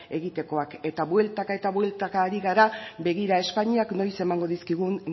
egitekoak eta bueltaka eta bueltaka ari gara begira espainiak noiz emango dizkigun